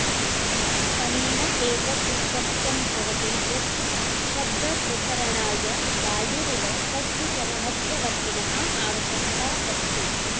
अनेन एतत् स्पष्टं भवति यत् शब्दप्रसरणाय वायुरिव कस्यचन मध्यवर्तिनः आवश्यकता अस्ति